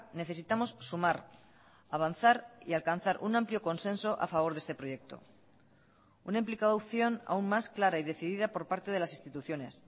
necesitamos sumar avanzar y alcanzar un amplio consenso a favor de este proyecto una implicación aún más clara y decidida por parte de las instituciones